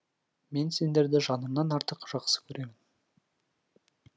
мен сендерді жанымнан артық жақсы көремін